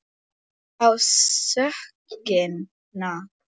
Hver á sökina?